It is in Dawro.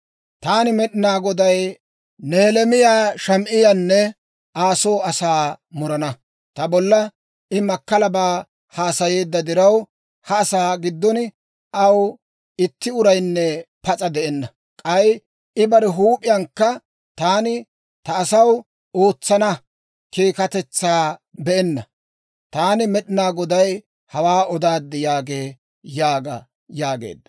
taani Med'inaa Goday Nehelaamiyaa Shamaa'iyaanne Aa soo asaa murana. Ta bolla I makkalabaa haasayeedda diraw, ha asaa giddon aw itti uraynne pas'a de'enna. K'ay I bare huup'iyankka taani ta asaw ootsana keekkatetsaa be'enna. Taani Med'inaa Goday hawaa odaad» yaagee› yaaga» yaageedda.